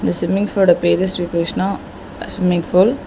இந்த ஸ்விம்மிங் ஃபூலோட பேரு ஸ்ரீ கிருஷ்ணா ஸ்விம்மிங் பூல் .